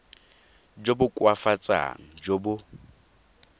jo bo koafatsang jo bo